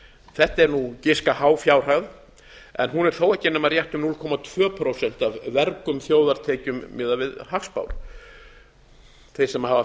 þetta er giska há fjárhæð en hún er þó ekki nema rétt um núll komma tvö prósent af vergum þjóðartekjum miðað við hagspár þeir sem hafa